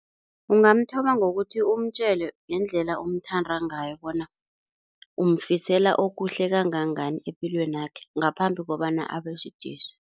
Ungamthoma ngokuthi umtjele ngendlela umthanda ngayo bona umfisela okuhle kangangani epilwenakhe ngaphambi kobana abesidisi.